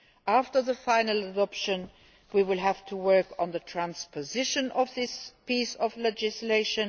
After its final adoption, we will have to work on the transposition of this piece of legislation.